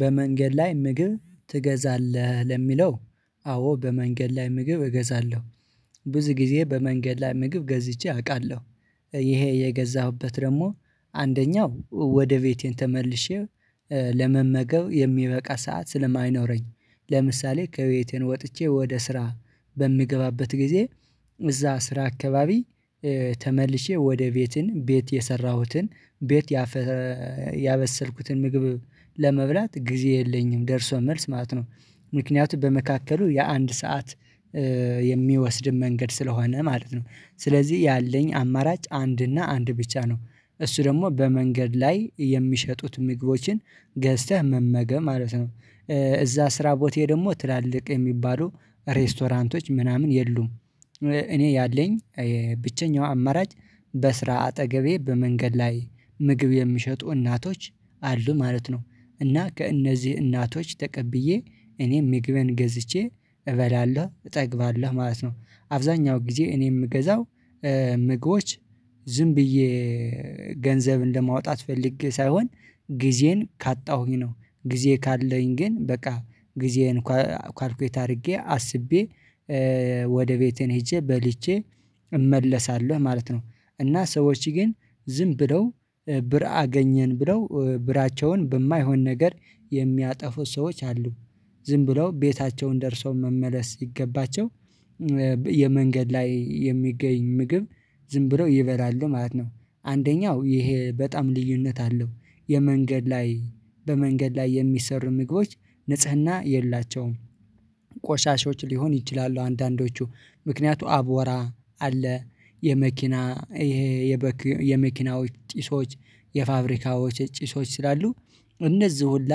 በመንገድ ላይ ምግብ ትገዛለህ ለሚለው? አዎ በመንገድ ላይ ምግብ እገዛለሁ ብዙ ጊዜ በመንገድ ላይ ምግብ ገዝቼ አውቃለሁ ይሄ የገዛሁበት ደግሞ አንደኛው ወደ ቤቴ ተመልሼ ለመመገብ የሚበቃ ሰዓት ስለማይኖረኝ ለምሳሌ ከቤቴ ወጥቼ ወደ ስራ በምገባበት ጊዜ እዛ ስራ አካባቢ ተመልሼ ወደ ቤቴ ቤት የሰራሁትን ቤት ያበሰልኩትን ምግብ ለመብላት ጊዜ የለኝም ደርሶ መልስ ማለት ነው ምክንያቱም በመካከሉ የአንድ ሰዓት የሚወስድም መንገድ ስለሆነ ማለት ነው ስለዚህ ያለኝ አማራጭ አንድ እና አንድ ብቻ ነው እሱ ደግሞ በመንገድ ላይ የሚሸጡት ምግቦችን ገዝተህ መመገብ ማለት ነው እዛ ስራ ቦቴ ደግሞ ትላልቅ የሚባሉ ሬስቶራንቶች ምናምን የሉም እኔ ያለኝ ብቸኛው አማራጭ በስራ አጠገቤ በመንገድ ላይ ምግብ የሚሸጡ እናቶች አሉ ማለት ነው እና ከእነዚህ እናቶች ተቀብዬ እኔም ምግበን ገዝቼ እበላለሁ እጠግባለሁ ማለት ነው አብዛኛው ጊዜ እኔ የምገዛው ምግቦች ዝም ብዬ ገንዘብ እንደማውጣት ፈልጌ ሳይሆን ጊዜን ካጣሁኝ ነው ጊዜ ካለኝ ግን በቃ ጊዜን ካልኩኝ አድርጌ አስቤ ወደ ቤቴን ሄጄ በልቼ እመለሳለሁ ማለት ነው እና ሰዎች ግን ዝም ብለው ብር አገኘን ብለው ብራቸውን በማይሆን ነገር የሚያጠፉ ሰዎች አሉ ዝም ብለው ቤታቸውን ደርሰው መመለስ ሲገባቸው የመንገድ ላይ የሚገኝ ምግብ ዝም ብለው ይበላሉ ማለት ነው አንደኛው ይሄ በጣም ልዩነት አለው የመንገድ ላይ በመንገድ ላይ የሚሰሩ ምግቦች ንጽህና የላቸውም ቆሻሾች ሊሆኑ ይችላሉ አንዳንዶቹ ምክንያቱ አብዋራ አለ የመኪና ይሄ የመኪናዎች ጪሶች የፋብሪካዎች ጭሶች ስላሉ እነዚህ ሁላ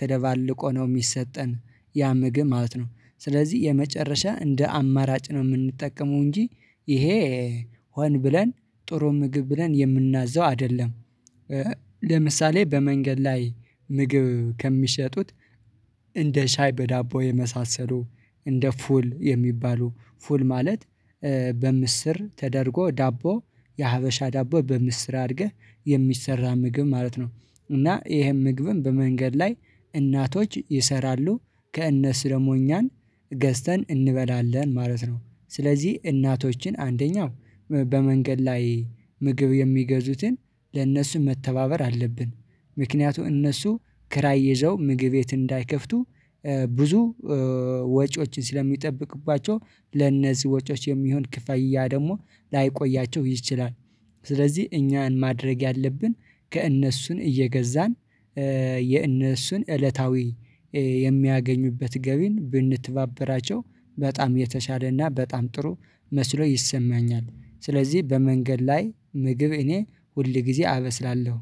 ተደባልቆ ነው የሚሰጠን ያ ምግብ ማለት ነው ስለዚህ የመጨረሻ እንደ አማራጭ ነው የምንጠቀመው እንጂ ይሄ ሆን ብለን ጥሩ ምግብ ብለን የምናዘው አይደለም ለምሳሌ በመንገድ ላይ ምግብ ከሚሸጡት እንደ ሻይ በዳቦ የመሳሰሉ እንደ ፉል የሚባሉ ፉል ማለት በምስር ተደርጎ ዳቦ የሀበሻ ዳቦ በምስራ አድርገህ የሚሰራ ምግብ ማለት ነው እና ይሄን ምግብም በመንገድ ላይ እናቶች ይሰራሉ ከእነሱ ደግሞ እኛም ገዝተን እንበላለን ማለት ነው ስለዚህ እናቶችን አንደኛው በመንገድ ላይ ምግብ የሚገዙትን ለእነርሱ መተባበር አለብን ምክንያቱም እነሱ ኪራይ ይዘው ምግብ የት እንዳይከፍቱ ብዙ ወጪዎችን ስለሚጠበቅባቸው ለነዚህ ወጪዎች የሚሆን ክፍያ ደግሞ ላይቆያቸው ይችላል ስለዚህ እኛን ማድረግ ያለብን ከእነሱ እየገዛን የእነሱን እለታዊ የሚያገኙበት ገቢን ብንተባበራቸው በጣም የተሻለና በጣም ጥሩ መስሎ ይሰማኛል ስለዚህ በመንገድ ላይ ምግብ እኔ ሁል ጊዜ አበስላለሁ